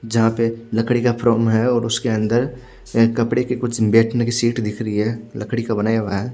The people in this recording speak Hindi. जहा पे लकड़ी का फ्रोम है और उसके अनदर शायद कपड़े की कुछ बेठने की सीट दिख रही है लकड़ी का बनाया हुआ है।